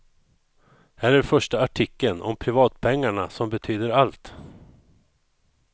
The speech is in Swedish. Här är första artikeln, om privatpengarna som betyder allt.